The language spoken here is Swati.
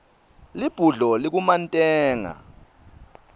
libhudlo likumantenga